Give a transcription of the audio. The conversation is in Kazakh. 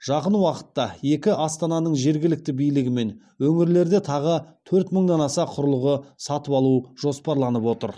жақын уақытта екі астананың жергілікті билігі мен өңірлерде тағы төрт мыңнан аса құрылғы сатып алу жоспарланып отыр